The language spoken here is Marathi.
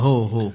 होय